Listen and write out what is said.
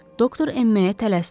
Doktor enməyə tələsdi.